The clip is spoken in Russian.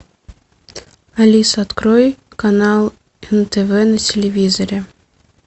алиса открой канал нтв на телевизоре